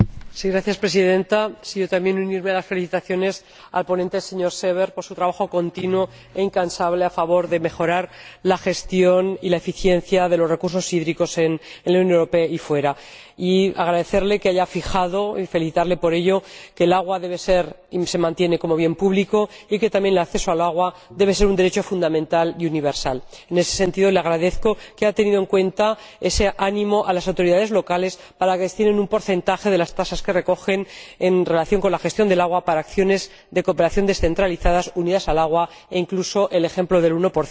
Señora Presidenta, yo también quiero unirme a las felicitaciones al ponente, el señor Seeber, por su trabajo continuo e incansable a favor de la mejora de la gestión y la eficiencia de los recursos hídricos en la Unión Europea y fuera, y agradecerle que haya fijado y felicitarle por ello que el agua se mantenga como bien público y que también el acceso al agua debe ser un derecho fundamental y universal. En ese sentido, le agradezco que haya tenido en cuenta ese ánimo a las autoridades locales para que destinen un porcentaje de las tasas que recogen, en relación con la gestión del agua, para acciones de cooperación descentralizadas unidas al agua, e incluso el ejemplo del 1